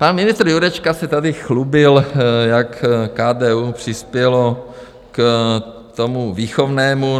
Pan ministr Jurečka se tady chlubil, jak KDU přispělo k tomu výchovnému.